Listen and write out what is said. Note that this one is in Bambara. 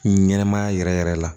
Ɲɛnɛmaya yɛrɛ yɛrɛ la